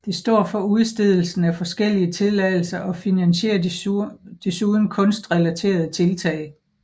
Det står for udstedelsen af forskellige tilladelser og finansierer desuden kunstrelaterede tiltag